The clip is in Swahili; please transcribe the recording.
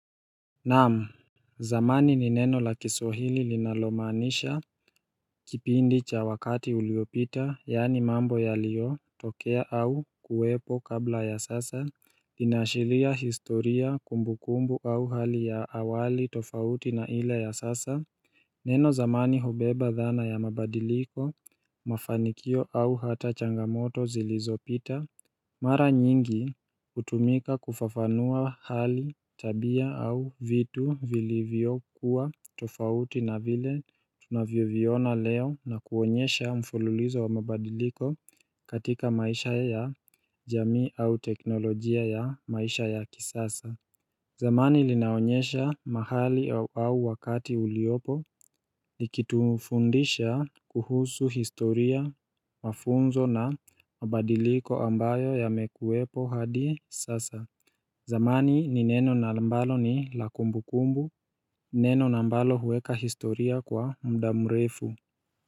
Naam zamani ni neno la kiswahili linalomanisha kipindi cha wakati uliopita yaani mambo yaliyotokea au kuwepo kabla ya sasa inashiria historia kumbukumbu au hali ya awali tofauti na ile ya sasa Neno zamani hubeba dhana ya mabadiliko mafanikio au hata changamoto zilizopita Mara nyingi hutumika kufafanua hali tabia au vitu vilivyokuwa tofauti na vile tunavyoviona leo na kuonyesha mfululizo wa mabadiliko katika maisha ya jamii au teknolojia ya maisha ya kisasa zamani linaonyesha mahali au wakati uliopo likitufundisha kuhusu historia mafunzo na mabadiliko ambayo yamekuwepo hadi sasa zamani ni neno na ambalo ni la kumbukumbu, neno na ambalo huweka historia kwa muda mrefu.